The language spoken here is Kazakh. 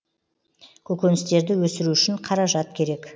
көкөністерді өсіру үшін қаражат керек